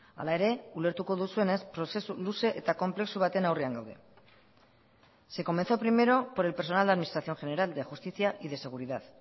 hala ere ulertuko duzuenez prozesu luze eta konplexu baten aurrean gaude se comenzó primero por el personal de administración general de justicia y de seguridad